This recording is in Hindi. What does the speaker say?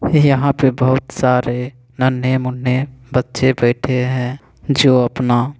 यहाँ पे बोहत सारे नन्हे मुँहे बच्चे बाइटे है जो अपना।